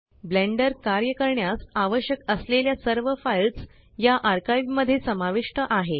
blender कार्य करण्यास आवश्यक असलेल्या सर्व फाइल्स या आर्काइव मध्ये समाविष्ट आहे